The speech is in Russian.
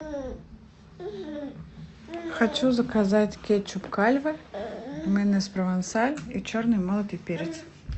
хочу заказать кетчуп кальве майонез провансаль и черный молотый перец